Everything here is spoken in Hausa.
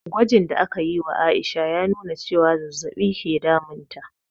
Gwajin da aka yi wa Aisha ya nuna cewa zazzabi ke damun ta